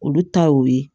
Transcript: Olu ta y'o ye